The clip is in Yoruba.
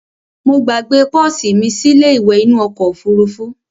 Mo gbàgbe pọ́sì mí sílé ìwẹ̀ nínu okò òfurufú